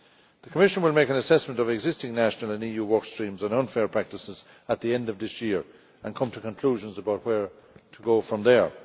The Commission will make an assessment of existing national and EU work streams and unfair practices at the end of this year and come to conclusions about where to go from there.